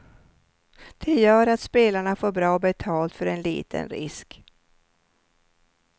Det gör att spelarna får bra betalt för en liten risk.